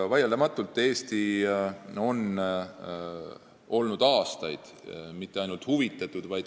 Vaieldamatult ei ole me siin aastaid olnud mitte ainult huvitatud pool.